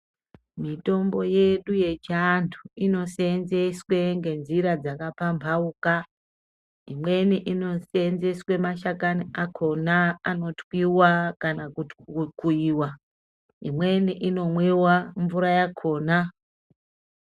Mitombo yedu yechiantu inoseenzeswe ngenjira dzakapamphauka. Imweni inoseenzeswe mashakani akhona anotwiwa kana kuti kukuiwa. Imweni inomwiwa mvura yakhona.